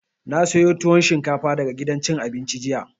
Na sayo tuwon shinkafa daga gidan cin abinci jiya